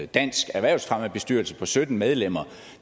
dansk erhvervsfremmebestyrelse på sytten medlemmer